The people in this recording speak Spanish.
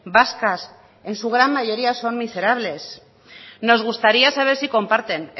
vascas en su gran mayoría son miserables nos gustaría saber si comparten